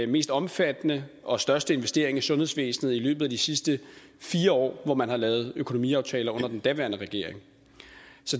mest omfattende og største investering i sundhedsvæsenet inden for de sidste fire år hvor man har lavet økonomiaftaler under den daværende regering